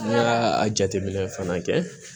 N'a y'a a jateminɛ fana kɛ